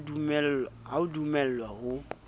ha o a dumellwa ho